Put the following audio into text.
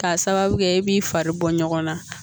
K'a sababu kɛ e b'i fari bɔ ɲɔgɔn na